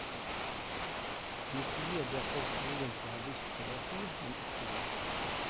Vi sier det folk egentlig har lyst til å si, men ikke våger.